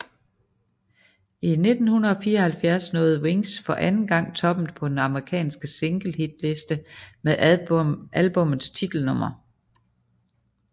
I 1974 nåede Wings for anden gang toppen på den amerikansk single hitliste med albummets titelnummer